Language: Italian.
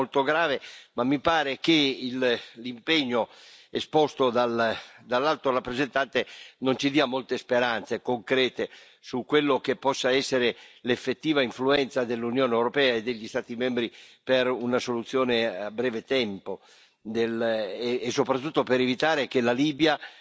È un problema molto grave, ma mi pare che l'impegno esposto dall'Alto rappresentante non ci dia molte speranze concrete su quella che possa essere l'effettiva influenza dell'Unione europea e degli Stati membri per una soluzione a breve tempo e soprattutto per evitare che la Libia